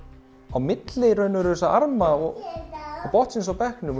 á milli þessara arma og botnsins á bekknum